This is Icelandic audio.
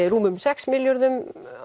rúmum sex milljörðum